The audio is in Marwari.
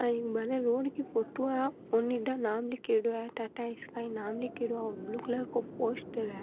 या एक बारे रोड की फोटो है ओनिडा नाम लीखेडो है टाटा स्काई नाम लीखेड़ो है ब्लू कलर को पोस्टर है।